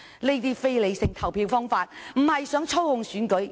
這種非理性的投票方式，只是意圖操控選舉。